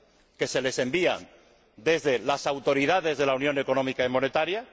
que les envían las autoridades de la Unión Económica y Monetaria.